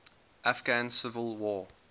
afghan civil war